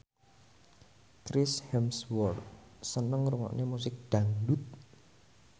Chris Hemsworth seneng ngrungokne musik dangdut